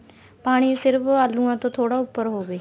ਪਾਣੀ ਸਿਰਫ ਆਲੂਆਂ ਤੋਂ ਥੋੜਾ ਉੱਪਰ ਹੋਵੇ